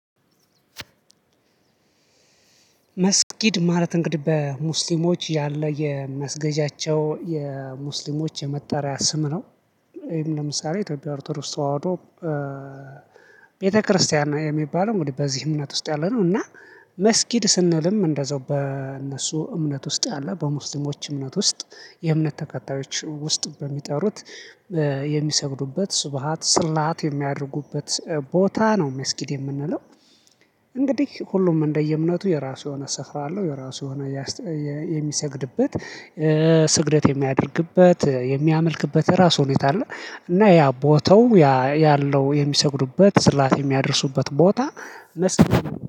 መስጊድ ማለት እንግዲህ በሙስሊሞች ያለ የመስገጃቸው የሙስሊሞች የመጣሪያ ስም ነው። ይሄም ለምሳሌ ኢትዮጵያ ኦርቶዶክስ ተዋህዶ። ቤተክርስቲያን የሚባለው እንግዲህ በዚህ እምነት ውስጥ ያለ ነው። እና መስጊድ ስንልም እንደዛው በእነሱ እምነት ውስጥ ያለ በሙስሊሞች እምነት ውስጥ የእምነት ተከታዮች ውስጥ በሚጠሩት የሚሰግዱበት ስብሃት ስላት የሚያደርጉበት ቦታ ነው መስጊድ የምንለው። እንግዲህ ሁሉም እንደየእምነቱ የራሱ የሆነ ስፍራ አለው። የራሱ የሆነ የሚሰግድበት ስግደት የሚያደርግበት የሚያመልክበት ራሱ ሁኔታ አለ። እና ያ ቦታው ያ ያለው የሚሰግዱበት ስላት የሚያደርሱበት ቦታ መስጊድ